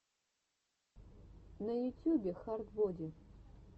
на ютюбе хард боди